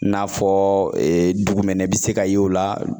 N'a fɔ dugumɛnɛ be se ka ye o la